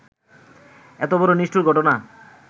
এত বড় নিষ্ঠুর ঘটনা